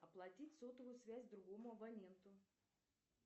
оплатить сотовую связь другому абоненту